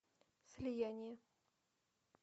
слияние